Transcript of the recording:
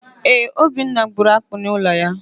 Ee, Obinna gburu akpị n'ụlọ ya.